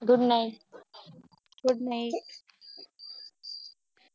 Good nightGood night